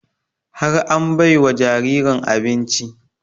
Har an bai wa jaririn abinci